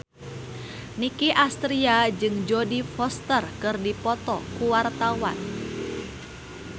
Nicky Astria jeung Jodie Foster keur dipoto ku wartawan